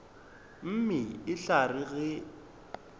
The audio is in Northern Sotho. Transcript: mme e tla re ge